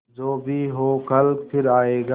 जो भी हो कल फिर आएगा